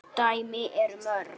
dæmin eru mörg.